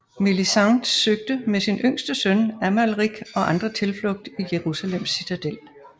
Melisende søgte med sin yngste søn Amalrik og andre tilflugt i Jerusalems citadel